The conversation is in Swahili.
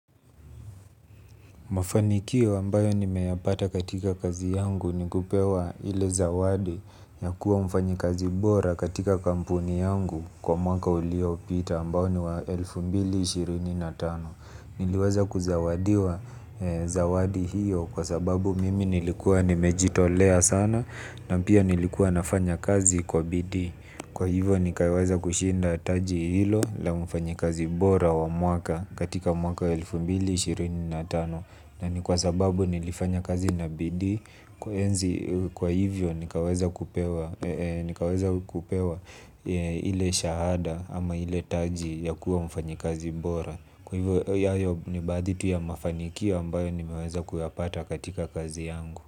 Mafanikio ambayo nimeyapata katika kazi yangu ni kupewa ile zawadi ya kuwa mfanyi kazi bora katika kampuni yangu kwa mwaka uliopita ambao niwa elfu mbili na ishirini na tano. Niliweza kuzawadiwa zawadi hiyo kwa sababu mimi nilikuwa nimejitolea sana na pia nilikuwa nafanya kazi kwa bidii. Kwa hivyo nikaweza kushinda taji hilo la mfanyi kazi bora wa mwaka katika mwaka elfu mbili na ishirini na tano. Na ni kwa sababu nilifanya kazi na bidii kwa hivyo nikaweza kupewa nikaweza kupewa ile shahada ama ile taji ya kuwa mfanyi kazi bora. Kwa hivyo hayo ni baadhi tu ya mafanikio ambayo nimeweza kuyapata katika kazi yangu.